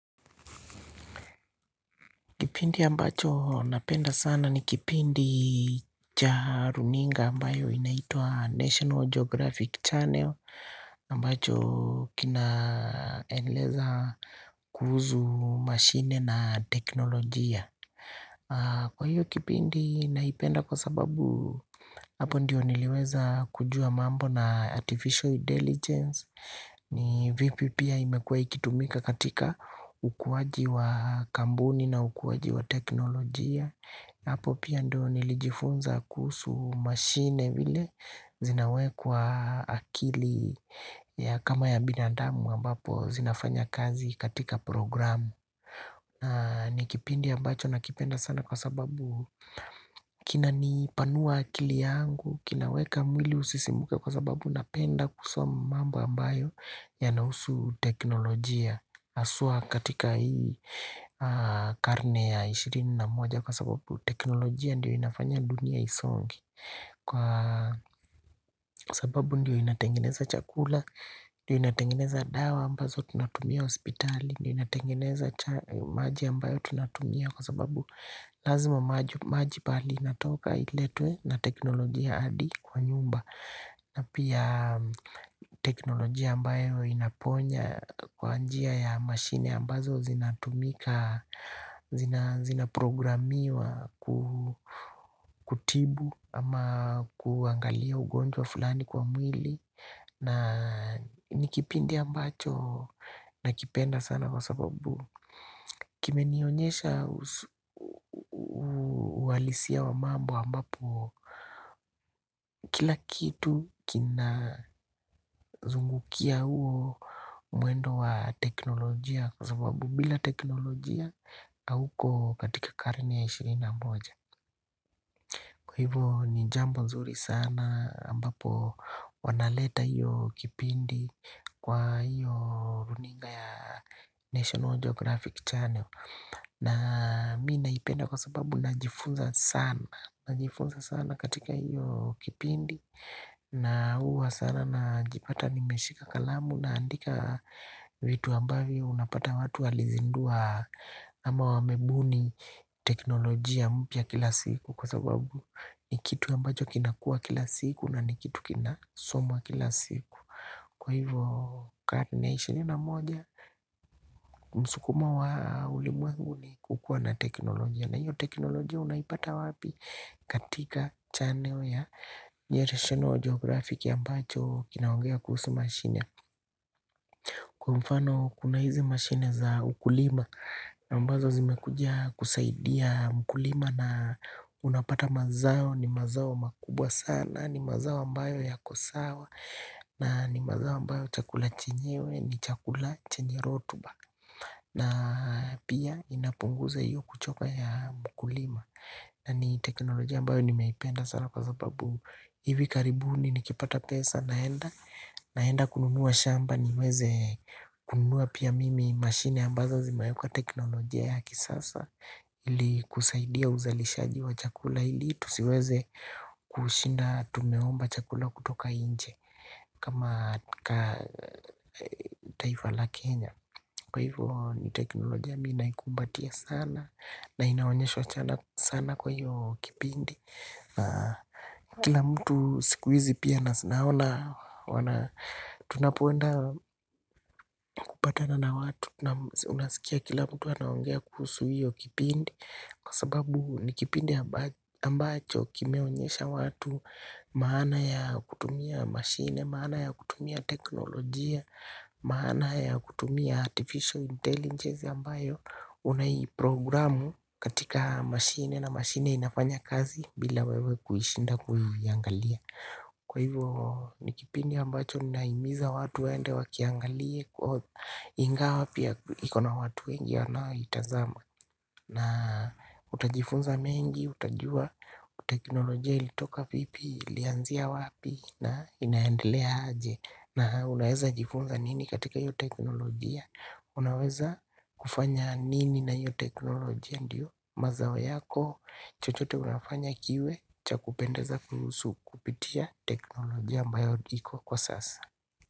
Kipindi ambacho napenda sana ni kipindi cha runinga ambayo inaitwa National Geographic Channel ambacho kinaeleza kuhuzu mashine na teknolojia Kwa hiyo kipindi naipenda kwa sababu hapo ndiyo niliweza kujua mambo na Artificial deligence ni vipi pia imekuwa ikitumika katika ukuwaji wa kambuni na ukuwaji wa teknolojia Hapo pia ndo nilijifunza kuhusu machine vile zinawekwa akili ya kama ya binadamu ambapo zinafanya kazi katika programu ni kipindi ambacho na kipenda sana kwa sababu kina nipanua akili yangu, kinaweka mwili usisimuke kwa sababu napenda kusoma mambo ambayo yanahusu teknolojia haswa katika hii karne ya ishirini na moja kwa sababu teknolojia ndiyo inafanya dunia isonge kwa sababu ndiyo inatengeneza chakula ndiyo inatengeneza dawa ambazo tunatumia hospitali ndiyo inatengeneza maji ambayo tunatumia kwa sababu lazima maji pahali inatoka iletwe na teknolojia adi kwa nyumba na pia teknolojia ambayo inaponya kwa njia ya mashine ambazo zinatumika, zinaprogramiwa kutibu ama kuangalia ugonjwa fulani kwa mwili na nikipindi ambacho na kipenda sana kwa sababu kime nionyesha uhalisia wa mambo ambapo kila kitu kina zungukia huo mwendo wa teknolojia kwa sababu bila teknolojia auko katika karne ya ishirni na moja Kwa hivo ni jambo zuri sana ambapo wanaleta hiyo kipindi kwa hiyo runinga ya National Geographic Channel na mi naipenda kwa sababu najifunza sana, najifunza sana katika hiyo kipindi na huwa sana na jipata nimeshika kalamu naandika vitu ambavyo unapata watu walizindua ama wamebuni teknolojia mpya kila siku kwa sababu ni kitu ambacho kinakua kila siku na ni kitu kinasomwa kila siku. Kwa hivyo karne ya ishirini na moja msukumo wa ulimwengu ni kukua na teknolojia na hiyo teknolojia unaipata wapi? Katika channel ya national geographic ambacho kinaongea kuhusu mashine Kwa mfano kuna hizi mashine za ukulima na ambazo zimekuja kusaidia mkulima na unapata mazao ni mazao makubwa sana ni mazao ambayo yako sawa na ni mazao ambayo chakula chenyewe ni chakula chenye rotuba. Na pia inapunguza hiyo kuchoka ya mkulima na ni teknolojia ambayo nimeipenda sana kwa sababu hivi karibuni nikipata pesa naenda naenda kununua shamba ni weze kununua pia mimi mashine ambazo zimewekwa teknolojia ya kisasa Ili kusaidia uzalishaji wa chakula ili tusiweze kushinda tumeomba chakula kutoka inje kama ka, taifa la Kenya. Kwa hivyo ni teknolojia mi naikumbatia sana na inaonyeshwa chana sana kwa hiyo kipindi. Kila mtu siku hizi pia nasi naona, tunapo enda kupatana na watu, unasikia kila mtu aongea kuhusu hiyo kipindi, kwa sababu ni kipindi ambacho kimeonyesha watu, maana ya kutumia mashine, maana ya kutumia teknolojia, maana ya kutumia artificial intelligence ambayo unai programu katika mashine na mashine inafanya kazi bila wewe kuishinda kuiangalia Kwa hivyo nikipindi ambacho nina himiza watu wende wakiangalie ingawa pia ikona watu wengi wanao itazama na utajifunza mengi utajua teknolojia ilitoka vipi ilianzia wapi na inaendelea aje, na unaweza jifunza nini katika hiyo teknolojia, unaweza kufanya nini na hiyo teknolojia ndiyo mazao yako chochote unafanya kiwe cha kupendeza kuhusu kupitia teknolojia ambayo iko kwa sasa.